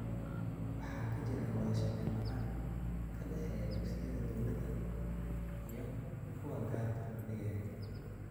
Waxaa ka jira wada shaqeyn la�aan ka dhexeysa dugsiyada dowladda iyo kuwa gaarka loo leeyahay.